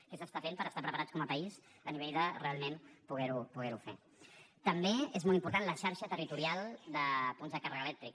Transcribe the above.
què s’està fent per estar preparats com a país a nivell de realment poder ho fer també és molt important la xarxa territorial de punts de càrrega elèctrica